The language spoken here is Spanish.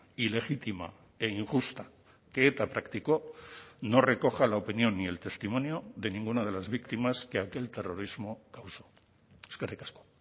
ilegítima e injusta que eta práctico no recoja la opinión ni el testimonio de ninguna de las víctimas que aquel terrorismo causó eskerrik asko